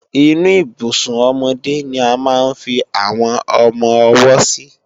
Inú Ibùsùn ọmọdé ni a máa ń fi àwọn ọmọ-ọwọ́ sí